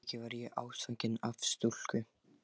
Að auki varð ég ástfanginn af stúlku.